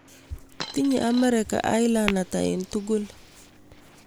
Tinye Amerika islands ata eng' tugul